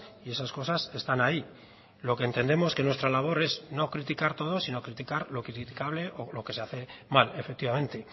y esas cosas están ahí lo que entendemos que nuestra labor es no criticar todo sino criticar lo criticable o lo que se hace mal efectivamente